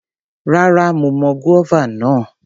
Rárá, mo mọ guava náà.